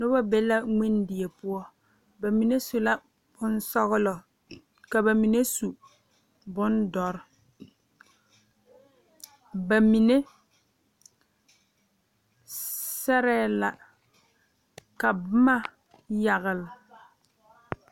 Noba be la ngmen die poɔ bamine su la bonsɔglɔ ka bamine su bondoɔre ba sɛre la ka boma yagle.